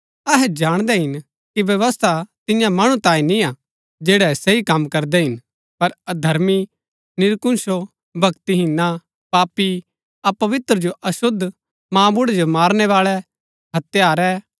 अहै जाणदै हिन कि व्यवस्था तिन्या मणु तांई निआं जैड़ै सही कम करदै हिन पर अधर्मी निरकुशों भक्‍तिहीनां पापी अपवित्र जो अशुद्ध मांबुड़ै जो मारनै बाळै हत्यारै